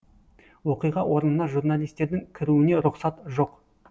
оқиға орнына журналистердің кіруіне рұқсат жоқ